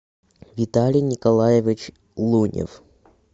виталий николаевич лунев